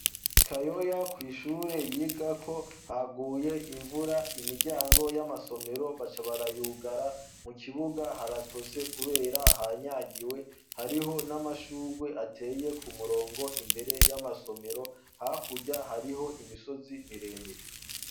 kayoya ku ishure yiga ko haguye imvura imiryango y'amasomero baca barayugara mu kibuga haratose kubera hanyagiwe hariho n'amashugwe ateye ku murongo imbere y'amasomero hakurya hariho imisozi miremire.